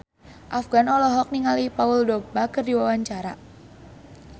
Afgan olohok ningali Paul Dogba keur diwawancara